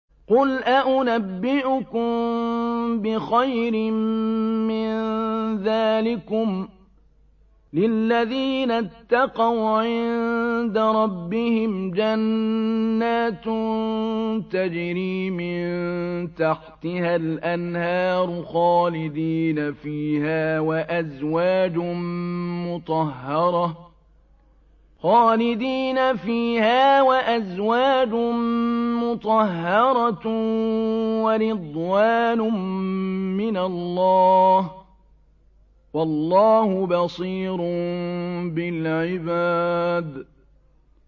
۞ قُلْ أَؤُنَبِّئُكُم بِخَيْرٍ مِّن ذَٰلِكُمْ ۚ لِلَّذِينَ اتَّقَوْا عِندَ رَبِّهِمْ جَنَّاتٌ تَجْرِي مِن تَحْتِهَا الْأَنْهَارُ خَالِدِينَ فِيهَا وَأَزْوَاجٌ مُّطَهَّرَةٌ وَرِضْوَانٌ مِّنَ اللَّهِ ۗ وَاللَّهُ بَصِيرٌ بِالْعِبَادِ